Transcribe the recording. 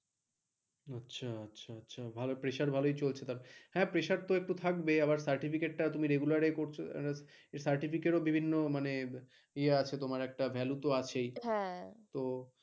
আচ্ছা আচ্ছা আচ্ছা pressure তো ভালো থাকবেইহা হ্যাঁ, pressure তো একটু থাকবে আবার certificate তুমি regular করছো certificate ও বিভিন্ন মানে এয়া আছে তোমার একটা value তো আছে তো।